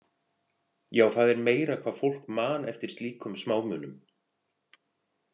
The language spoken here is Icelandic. Já, það er meira hvað fólk man eftir slíkum smámunum.